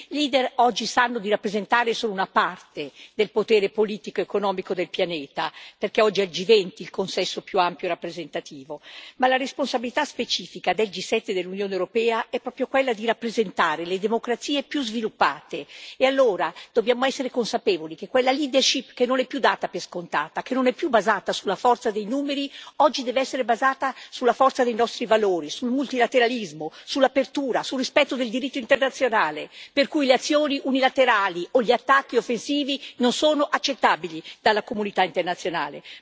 I leader oggi sanno di rappresentare solo una parte del potere politico ed economico del pianeta, perché oggi è il G20 il consesso più ampio e rappresentativo, ma la responsabilità specifica del G7 dell'Unione europea è proprio quella di rappresentare le democrazie più sviluppate e allora dobbiamo essere consapevoli che quella leadership che non è più data per scontata, che non è più basata sulla forza dei numeri, oggi deve essere basata sulla forza dei nostri valori, sul multilateralismo, sull'apertura, sul rispetto del diritto internazionale, per cui le azioni unilaterali o gli attacchi offensivi non sono accettabili dalla comunità internazionale.